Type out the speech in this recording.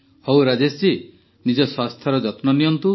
ହଉ ରାଜେଶଜୀ ନିଜ ସ୍ୱାସ୍ଥ୍ୟର ଯତ୍ନ ନିଅନ୍ତୁ